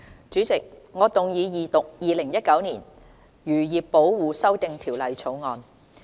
主席，我動議二讀《2019年漁業保護條例草案》。